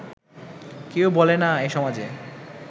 কেউ বলে না এ সমাজে